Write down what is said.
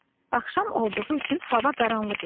Axşam olduğu üçün hava qaranlıq idi.